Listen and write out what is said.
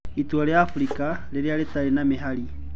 Itũra ria Afrika 'riria rĩtarĩ na mihari'